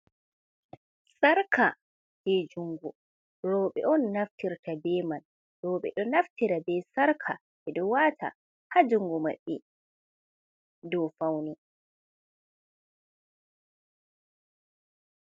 Sarka je juungu rowɓe on naftirta be man. Rowɓe ɗo naftira be sarka ɓe ɗo wata haa jungu maɓɓe do fauni.